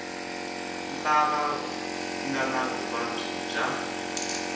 lava nga ni vuvabyi bya